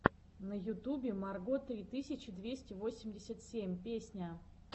на ютубе марго три тысячи двести восемьдесят семь песня